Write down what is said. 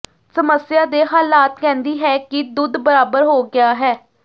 ਸਮੱਸਿਆ ਦੇ ਹਾਲਾਤ ਕਹਿੰਦੀ ਹੈ ਕਿ ਦੁੱਧ ਬਰਾਬਰ ਹੋ ਗਿਆ ਹੈ